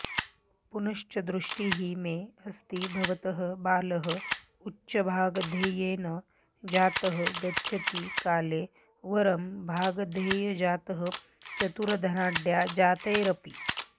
पुनश्च दृष्टिः मे अस्ति भवतः बालः उच्चभागधेयेन जातः गच्छति काले वरं भागधेयजातः चतुरधनाढ्यजातैरपि